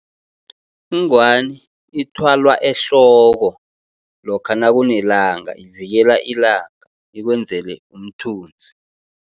Ingwani ithwalwa ehloko, lokha nakunelanga, ivikela ilanga, ikwenzele umthunzi.